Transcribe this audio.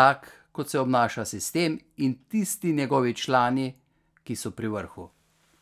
tak, kot se obnaša sistem in tisti njegovi člani, ki so pri vrhu.